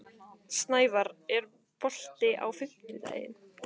Snævarr, er bolti á fimmtudaginn?